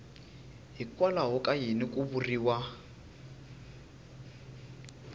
hikwalaho ka yini ku vuriwa